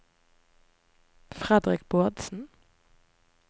Fredrik Bårdsen